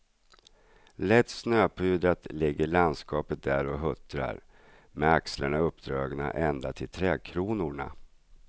Lätt snöpudrat ligger landskapet där och huttrar, med axlarna uppdragna ända till trädkronorna.